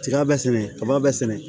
Tiga bɛ sɛnɛ kaba bɛɛ sɛnɛ